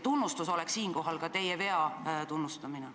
Tunnustus oleks siinkohal ka teie vea tunnistamine.